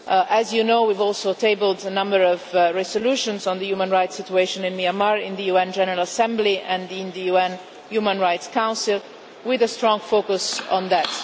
As you know, we have also tabled a number of resolutions on the human rights situation in Myanmar in the UN General Assembly and in the UN Human Rights Council, with a strong focus on that.